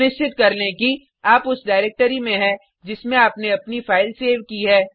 सुनिश्चित कर लें कि आप उस डाइरेक्टरी में है जिसमें आपने अपनी फाइल सेव की है